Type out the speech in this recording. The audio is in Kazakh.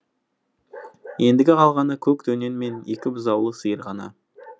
ендігі қалғаны көк дөнен мен екі бұзаулы сиыр ғана